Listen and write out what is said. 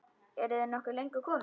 Ertu nokkuð löngu kominn?